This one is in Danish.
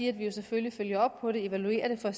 at vi jo selvfølgelig følger op på det evaluerer det for at